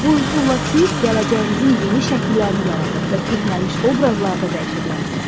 Bu üsulla siz gələcəyinizin yeni şəkillərini yaradır və köhnəlmiş obrazlarda dəyişə bilərsiniz.